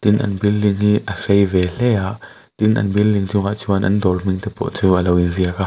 tin an building hi a sei ve hle a tin an building chungah chuan an dawr hming te pawh chu a lo inziak a.